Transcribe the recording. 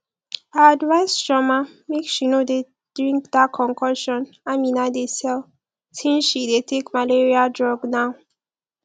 i advise chioma make she no dey drink dat concoction amina dey sell since she dey take malaria drug now